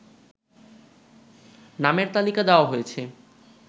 নামের তালিকা দেওয়া হয়েছে